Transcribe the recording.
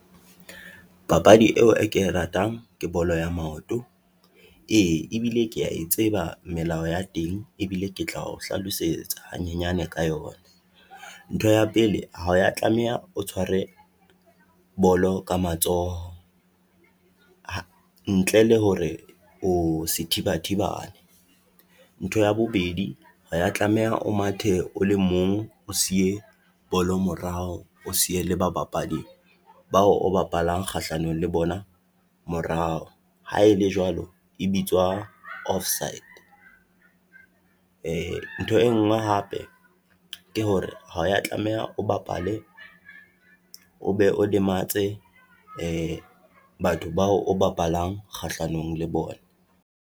Papadi eo e ke ratang ke bolo ya maoto, ee ebile ke ya e tseba melao ya teng ebile ke tla o hlalosetsa hanyenyane ka yona. Ntho ya pele ho ya tlameha o tshware bolo ka matsoho, ntle le hore o sethibathibane, ntho ya bobedi ha o ya tlameha o mathe o le mong, o siye bolo morao, o siye bolo morao, o siye le ba bapadi bao o bapalang kgahlanong le bona morao. Ha ele jwalo, e bitswa offside, e ntho e ngwe hape ke hore ha ya tlameha o bapale o be o lematse, batho bao o bapalang kgahlanong le bona.